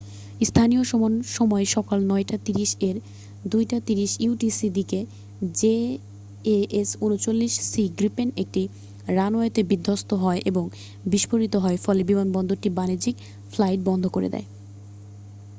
স্থানীয় সময় সকাল ৯:৩০ এর ০২:৩০ utc দিকে জেএএস ৩৯ সি গ্রিপেন একটি রানওয়েতে বিধ্বস্ত হয় এবং বিস্ফোরিত হয়, ফলে বিমানবন্দরটি বাণিজ্যিক ফ্লাইট বন্ধ করে দেয়।